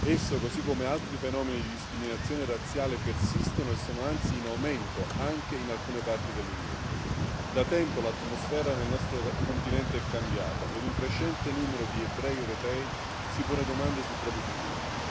Esso, così come altri fenomeni di discriminazione razziale persistono e sono anzi in aumento anche in alcune parti dell'Unione. Da tempo l'atmosfera nel nostro continente è cambiata e un crescente numero di ebrei europei si pone domande sul proprio futuro.